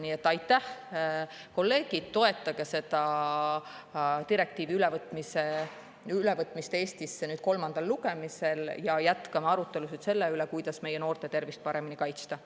Nii et aitäh, kolleegid, toetage seda direktiivi ülevõtmist Eestisse nüüd kolmandal lugemisel ja jätkame arutelusid selle üle, kuidas meie noorte tervist paremini kaitsta.